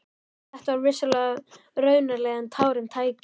Þetta var vissulega raunalegra en tárum tæki.